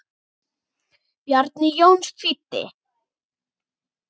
Bjarni Jónsson þýddi.